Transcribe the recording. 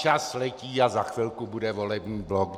Čas letí a za chvilku bude volební blok.